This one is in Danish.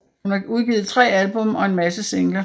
Hun har udgivet tre album og en masse singler